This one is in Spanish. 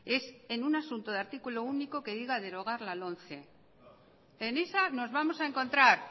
es en un asunto de artículo único que diga derogar la lomce en esa nos vamos a encontrar